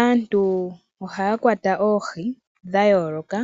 Aantu ohaya kwata oohi dha yooloka